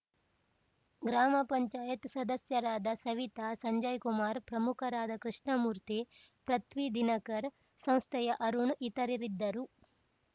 ಗ್ರಾಮ ಪಂಚಾಯತ್ ಸದಸ್ಯರಾದ ಸವಿತಾ ಸಂಜಯ್‌ಕುಮಾರ್‌ ಪ್ರಮುಖರಾದ ಕೃಷ್ಣಮೂರ್ತಿ ಪೃಥ್ವಿ ದಿನಕರ್‌ ಸಂಸ್ಥೆಯ ಅರುಣ್‌ ಇತರರಿದ್ದರು